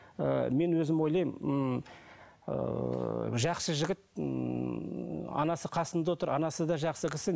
ыыы мен өзім ойлаймын ыыы жақсы жігіт анасы қасында отыр анасы да жақсы кісі